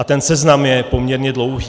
A ten seznam je poměrně dlouhý.